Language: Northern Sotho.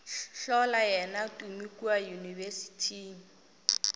hlola yena tumi kua yunibesithing